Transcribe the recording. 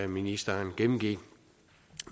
ministeren gennemgik